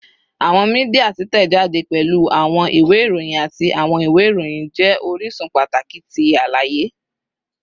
Awọn media titẹjade, pẹlu awọn iwe iroyin ati awọn iwe iroyin, jẹ orisun pataki ti alaye